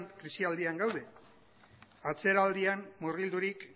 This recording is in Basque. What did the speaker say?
krisialdian gaude atzeraldian murgildurik